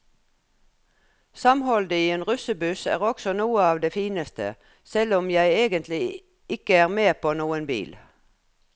Samholdet i en russebuss er også noe av det fineste, selv om jeg egentlig ikke er med på noen bil.